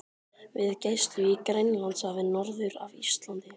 við gæslu í Grænlandshafi norður af Íslandi.